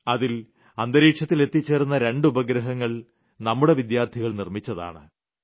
അതിൽ അന്തരീക്ഷത്തിൽ എത്തിച്ചേർന്ന് രണ്ട് ഉപഗ്രങ്ങൾ നമുടെ വിദ്യാർത്ഥികൾ നിർമ്മിച്ചതാണ്